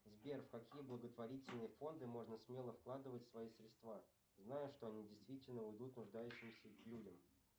сбер в какие благотворительные фонды можно смело вкладывать свои средства зная что они действительно уйдут нуждающимся людям